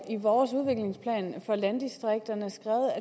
i vores udviklingsplan for landdistrikterne skrevet at